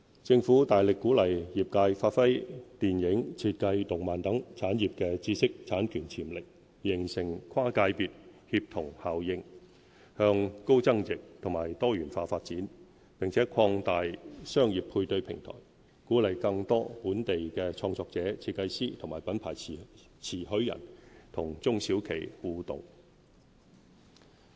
政府大力鼓勵業界發揮電影、設計、動漫等產業的知識產權潛力，形成跨界別協同效應，向高增值及多元化發展，並擴大商業配對平台，鼓勵更多本地創作者、設計師及品牌特許人與中小企互動。